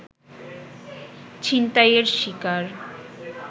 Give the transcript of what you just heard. ছিনতাইয়ের শিকার